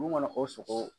Mun ŋɔnɔ o sogo